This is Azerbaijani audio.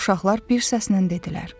Uşaqlar bir səslə dedilər.